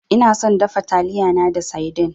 Ina son dafa taliyana da saidin.